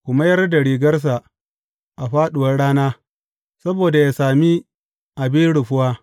Ku mayar da rigarsa a fāɗuwar rana saboda yă sami abin rufuwa.